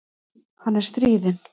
Hann er stríðinn.